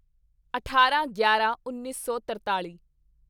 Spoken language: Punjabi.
ਅਠਾਰਾਂਗਿਆਰਾਂਉੱਨੀ ਸੌ ਤਰਤਾਲੀ